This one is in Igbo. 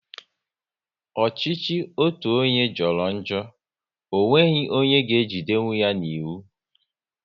Ọchịchị otu onye jọrọ njọ, ọ nweghị onye ga ejidenkwụ ya n'iwu